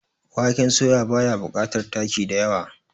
waken soya ba ya bukatar taki da yawa